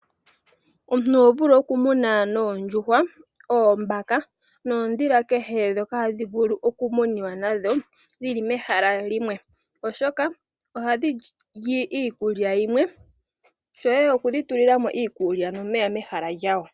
Omuntu oho vulu okumuna nondjuhwa , oombaka, nodhila kehe dhoka hadhi vulu oku muniwa nadho dhili mehala limwe, oshoka ohadhili iikulya yimwe shoye oku dhitulilamo iikulya momeya mehala lyawo.